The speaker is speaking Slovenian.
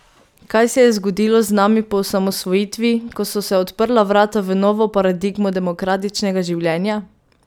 Kaj se je zgodilo z nami po osamosvojitvi, ko so se odprla vrata v novo paradigmo demokratičnega življenja?